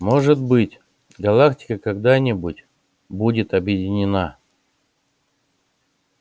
может быть галактика когда-нибудь будет объединена